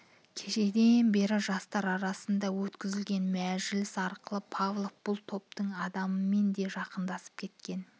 кешеден бергі жастар арасында өткізген мәжіліс арқылы павлов бұл топтың адамымен де жақындасып кеткен